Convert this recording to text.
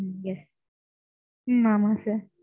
ம்ம் yes. Hmm ஆமாம் sir.